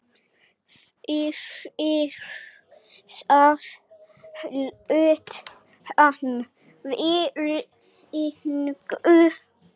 Fyrir það hlaut hann virðingu.